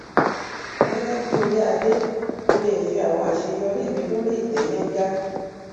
gẹgẹ bíi oríadé mo lè fi àwọn àṣeyọrí mi lórí ìtẹ yángá